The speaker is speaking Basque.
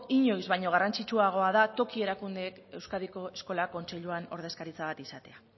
inoiz baino garrantzitsuagoa da toki erakundeek euskadiko eskola kontseiluan ordezkaritza bat izatea